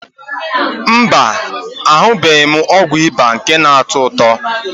Mba, ahụbeghị m ọgwụ ịba nke na-atọ ụtọ.